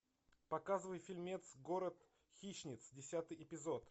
показывай фильмец город хищниц десятый эпизод